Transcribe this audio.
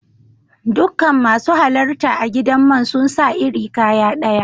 Dukan masu halarta a'gidan man sun sa iri kaya daya.